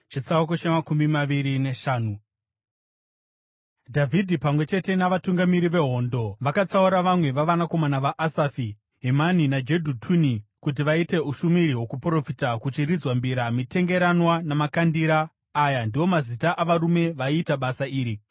Dhavhidhi, pamwe chete navatungamiri vehondo: vakatsaura vamwe vavanakomana vaAsafi, Hemani naJedhutuni kuti vaite ushumiri hwokuprofita kuchiridzwa mbira, mitengeranwa namakandira. Aya ndiwo mazita avarume vaiita basa iri.